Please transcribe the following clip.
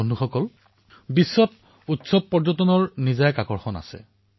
বন্ধুসকল বিশ্বত উৎসৱ পৰ্যটনৰ এক নিজা আকৰ্ষণ আছে